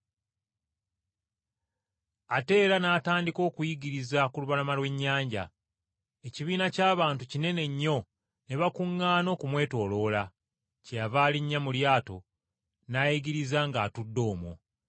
Ate era n’atandika okuyigiriza ku lubalama lw’ennyanja. Ekibiina ky’abantu kinene nnyo ne bakuŋŋaana okumwetooloola. Kyeyava alinnya mu lyato n’ayigiriza ng’atudde omwo.